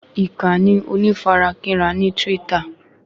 Ìkànnì onífarakínra ni twítà